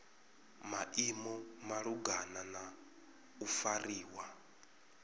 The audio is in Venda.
maimo malugana na u fariwa